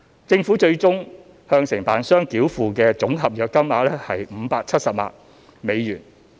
政府最終向承辦商繳付的總合約金額約為570萬美元。